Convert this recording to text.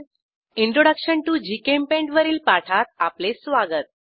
introduction to GChemPaint वरील पाठात आपले स्वागत